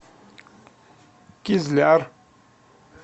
кизляр